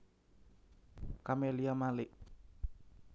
Camelia Malik